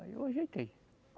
Aí eu ajeitei.